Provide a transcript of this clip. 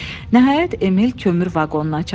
Nəhayət, Emil kömür vaqonuna çatdı.